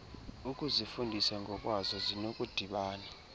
ukuzifundisa ngokwazo zinokudibana